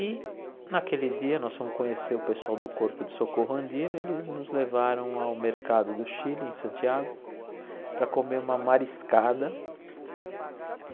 E, naquele dia, nós fomos conhecer o pessoal do Corpo de Socorro Andino eles nos levaram ao mercado do Chile, em Santiago, para comer uma mariscada.